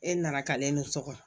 E nana ka ne sɔkɔ